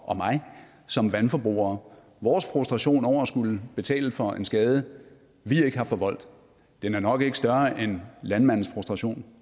og mig som vandforbrugere vores frustration over at skulle betale for en skade vi ikke har forvoldt er nok ikke større end landmandens frustration